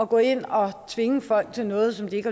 gå ind og tvinge folk til noget som de ikke